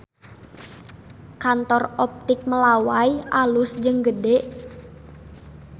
Kantor Optik Melawai alus jeung gede